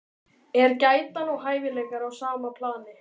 Er getan og hæfileikar á sama plani?